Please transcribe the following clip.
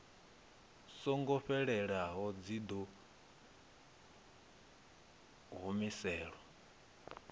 songo fhelelaho dzi ḓo humiselwa